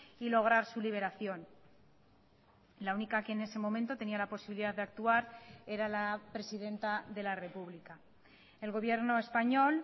y lograr su liberación la única que en ese momento tenía la posibilidad de actuar era la presidenta de la república el gobierno español